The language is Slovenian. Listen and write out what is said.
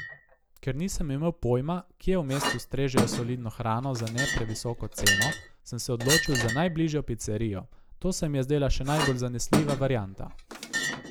Ker nisem imel pojma, kje v mestu strežejo solidno hrano za ne previsoko ceno, sem se odločil za najbližjo picerijo, to se mi je zdela še najbolj zanesljiva varianta.